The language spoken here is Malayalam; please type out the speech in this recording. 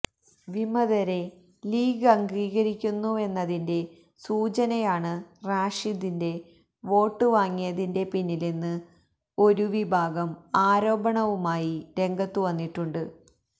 വിമതരെ ലീഗ് അംഗീകരിക്കുന്നുവെന്നതിന്റെ സൂചനയാണ് റാഷിദിന്റെ വോട്ട് വാങ്ങിയതിന്റെ പിന്നിലെന്ന് ഒരു വിഭാഗം ആരോപണവുമായി രംഗത്ത് വന്നിട്ടുണ്ട്